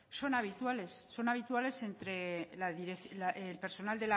son habituales son habituales entre el personal